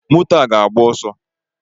Moto a ga agba ọsọ